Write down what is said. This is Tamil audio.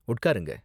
உட்காருங்க.